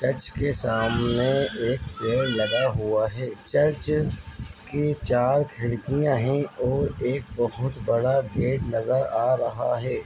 Church के सामने एक पेड़ लगा हुआ है चर्च के चार खिड़कियाँ हैं और एक बहुत बड़ा गेट नजर आ रहा है।